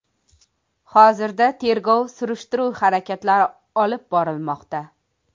Hozirda tergov-surishtiruv harakatlari olib borilmoqda.